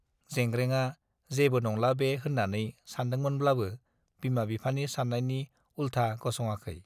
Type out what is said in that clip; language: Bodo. जेंग्रेंआ जेबो नंला बे होन्नानै सानदोंमोनब्लाबो बिमा-बिफानि सान्नायनि उल्था गस'ङाखै।